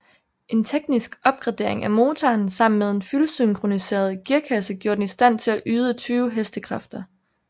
En teknisk opgradering af motoren sammen med en fyldsyncroniseret gearkasse gjorde den i stand til at yde 20 hestekræfter